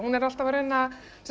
er alltaf að reyna